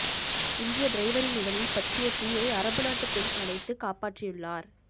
இந்திய டிரைவரின் உடலில் பற்றிய தீயை அரபு நாட்டு பெண் அணைத்து காப்பாற்றியுள்ளார்